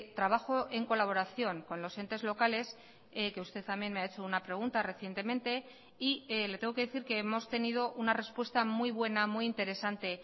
trabajo en colaboración con los entes locales que usted también me ha hecho una pregunta recientemente y le tengo que decir que hemos tenido una respuesta muy buena muy interesante